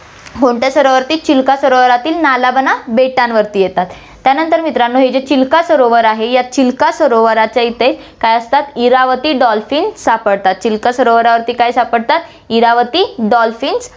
कोणत्या सरोवरांवरती चिल्का सरोवरातील नालाबाना बेटांवरती येतात, त्यानंतर मित्रांनो, हे जे चिल्का सरोवर आहे या चिल्का सरोवराच्या इथे काय असतात, इरावती डॉल्फिन सापडतात, चिल्का सरोवरावरती काय सापडतात, इरावती डॉल्फिन